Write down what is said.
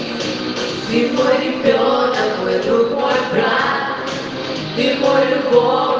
переварила кладят марк легко легко